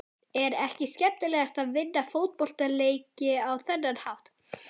Er ekki skemmtilegast að vinna fótboltaleiki á þennan hátt?